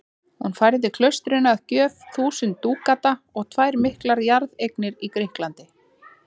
Hún færði klaustrinu að gjöf þúsund dúkata og tvær miklar jarðeignir í Grikklandi.